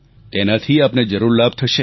તેનાથી આપને જરૂર લાભ થશે